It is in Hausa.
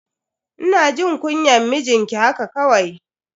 Ina jin kunyan mijinki haka kawai.